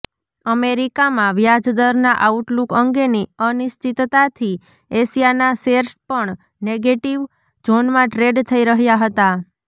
અમેરિકામાં વ્યાજદરના આઉટલૂક અંગેની અનિશ્ચતતાથી એશિયાના શેર્સ પણ નેગેટિવ ઝોનમાં ટ્રેડ થઈ રહ્યા હતા